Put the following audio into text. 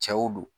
Cɛw don